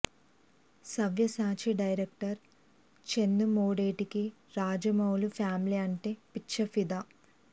Savyasachi director Chandu మొండేటికి Rajamouli family అంటే పిచ్చ ఫిదా